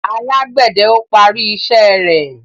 Alágbède o parí iṣé rẹ